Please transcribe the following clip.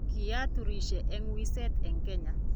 kiaturisie eng wiset eng Kenya